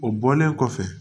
O bɔlen kɔfɛ